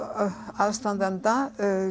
aðstandanda